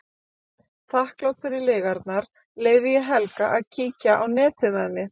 Þakklát fyrir lygarnar leyfi ég Helga að kíkja á netið með mér.